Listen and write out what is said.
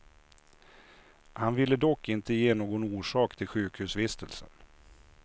Han ville dock inte ge någon orsak till sjukhusvistelsen.